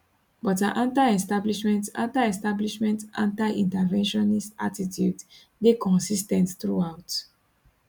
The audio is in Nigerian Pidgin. but her antiestablishment antiestablishment antiinterventionist attitudes dey consis ten t throughout